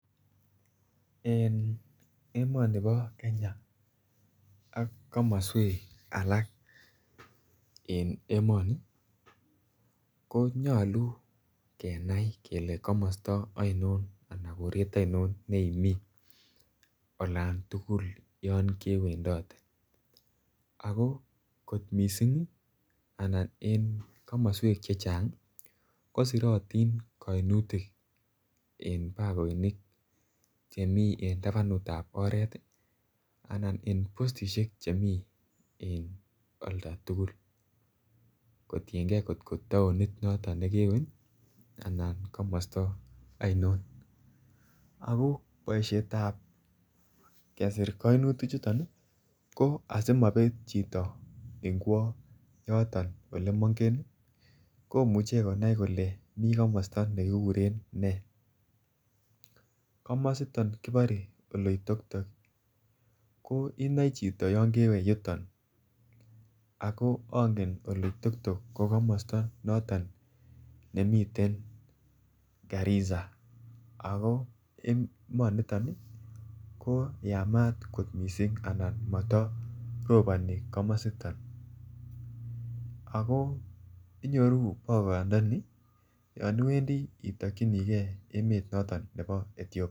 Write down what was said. En emoni bo Kenya ak komoswek alak en emoni konyalu kenai kele komosta aino anan koret ainon neimi olan tugul yon kewendote ako kot mising' anan en komoswek chechang' kosirotin kaimutik en bakoinik chemi en tabanutab oret anan en postishek chemi en oldo tugul kotingei at ko taonit noto nekewe anan komosta ainon ako boishetab kesir kainutik chuton ko asimapet chito en kwo yoto ole moingen komuchei konai kole mi komosta nekikuren nee komosita kibore oloitoktok ko inoe chiton yon kewe yuton ako angen oloitoktok ko komosta noton nemiten garisa oko en emoniton ko yamat kot mising' anan mataropani komosita ako inyoru bakoyondoni yon iwendi itokchinigei emonoto nebo Ethiopia